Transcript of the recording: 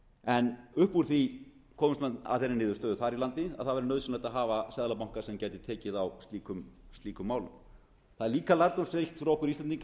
en upp úr því komust menn að þeirri niðurstöðu þar í landi að það væri nauðsynlegt að hafa seðlabanka sem gæti tekið á slíkum málum það er líka lærdómsríkt fyrir okkur íslendinga að